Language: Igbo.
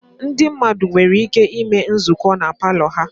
Ndị mmadụ nwere ike ịme nzukọ na palọ ha